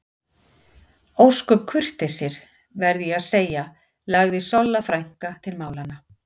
Ósköp kurteisir, verð ég að segja lagði Solla frænka til málanna.